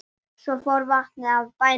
Svo fór vatnið af bænum.